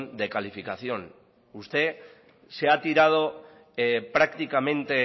de calificación usted se ha tirado prácticamente